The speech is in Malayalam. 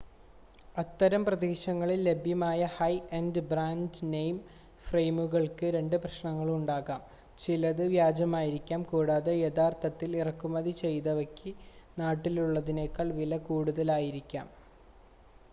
അത്തരം പ്രദേശങ്ങളിൽ ലഭ്യമായ ഹൈ-എൻഡ് ബ്രാൻഡ്-നെയിം ഫ്രയിമുകൾക്ക് രണ്ട് പ്രശ്നങ്ങൾ ഉണ്ടാകാം ചിലത് വ്യാജമാവാം കൂടാതെ യഥാർത്ഥത്തിൽ ഇറക്കുമതി ചെയ്തവയ്ക്ക് നാട്ടിലുള്ളതിനേക്കാൾ വില കൂടുതലായിരിക്കാം